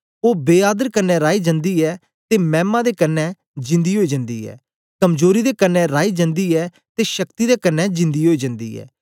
ओ बे आदर कन्ने राई जन्दी ऐ ते मैमा दे कन्ने जींदी ओई जन्दी ऐ कमजोरी दे कन्ने राई जन्दी ऐ ते शक्ति दे कन्ने जींदी ओई जन्दी ऐ